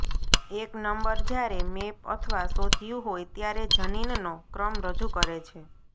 એક નંબર જ્યારે મેપ અથવા શોધ્યું હોય ત્યારે જનીનનો ક્રમ રજૂ કરે છે